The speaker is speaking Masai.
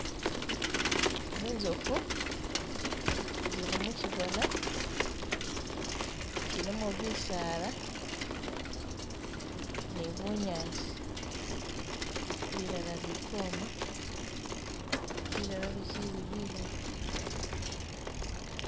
Zinzofu zili mukyigona kyilimo bisaala nibunyaasi bilala bikwoma bilala bikyili bilayi